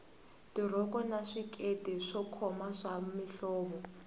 tirhoko na swikete swo koma swa mihlovo